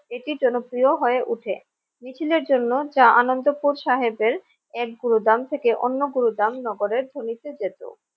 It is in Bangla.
এটি জনপ্রিয় হয়ে ওঠে মিছিলের জন্য যা আনন্দপুর সাহেবের এক গুরুদাম থেকে অন্য গুরুদাম নগরের জমিতে যেত।